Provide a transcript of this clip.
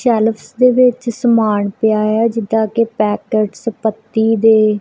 Shelves ਦੇ ਵਿੱਚ ਸਮਾਨ ਪਿਆ ਹੋਇਆ ਹੈ ਜਿਹਦਾ ਕੇ ਪੈਕੇਟਸ ਪੱਤੀ ਦੇ।